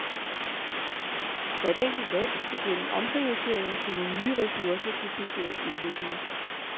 Hvert enkelt land skal gennem omprioriteringer finde nye ressourcer til social udvikling.